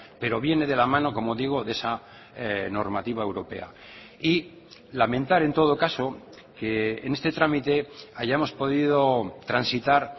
pero viene de la mano como digo de esa normativa europea y lamentar en todo caso que en este trámite hayamos podido transitar